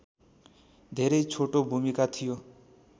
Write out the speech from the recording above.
धेरै छोटो भूमिका थियो